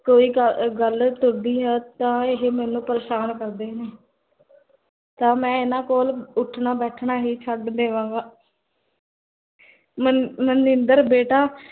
ਕੋਈ ਗਲ ਤੁਰਦੀ ਹੈ ਤਾਂ ਇਹ ਮੇਨੂ ਪਰੇਸ਼ਾਨ ਕਰਦੇ ਨੇ ਤਾਂ ਮੈ ਇੰਨਾ ਕੋਲ, ਉਠਣਾ ਬੈਠਨਾ ਹੀ ਛੱਡ ਦੇਵਾਂਗਾ ਮੰਨ ਮਨਿੰਦਰ ਬੇਟਾ